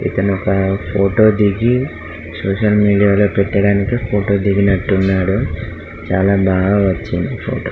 ఇతను ఒక ఫోటో దిగి సోషల్ మీడియా లో పెట్టడానికి ఫోటో దిగినట్టు ఉన్నాడు. చాల బాగా వచ్చింది ఈ ఫోటో .